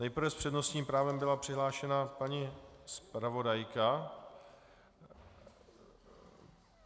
Nejprve s přednostním právem byla přihlášena paní zpravodajka.